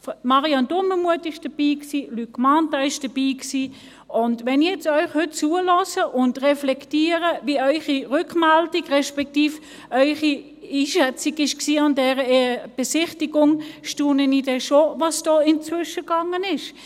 Marianne Dumermuth war dabei, Luc Mentha war dabei, und wenn ich euch jetzt heute zuhöre und reflektiere, wie eure Rückmeldung respektive eure Einschätzung an dieser Besichtigung war, staune ich dann schon, was da inzwischen gegangen ist.